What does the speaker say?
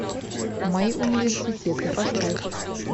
мои университеты поставь